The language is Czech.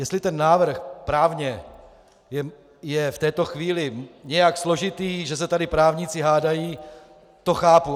Jestli ten návrh právně je v této chvíli nějak složitý, že se tady právníci hádají, to chápu.